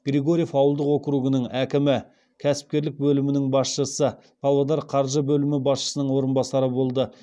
григорьев ауылдық округінің әкімі кәсіпкерлік бөлімінің басшысы павлодар қаржы бөлімі басшысының орынбасары болды